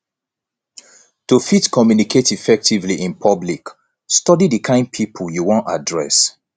to fit communicate effectively in public study di kind pipo you won address